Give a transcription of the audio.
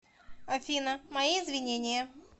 афина мои извинения